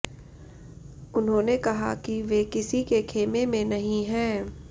उन्होंने कहा कि वे किसी के खेमे में नहीं है